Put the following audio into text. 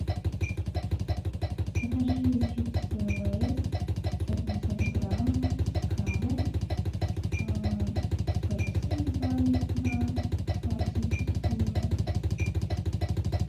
закажи чипсы лейс сто пятьдесят грамм с крабом пепси два литра классическую